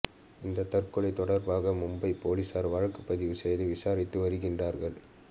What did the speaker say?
இந்த தற்கொலை தொடர்பாக மும்பை போலீசார் வழக்கு பதிவு செய்து விசாரித்து வருகிறார்கள்